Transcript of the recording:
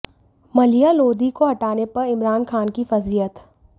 मलीहा लोधी को हटाने पर इमरान खान की फजीहत